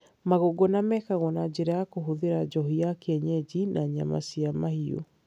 Magongona mekagwo na njĩra ya kũhuthĩra njohi ya kienyeji na nyama cia mahiũ.